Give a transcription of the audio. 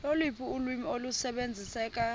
loluphi ulwimi olusebenziseka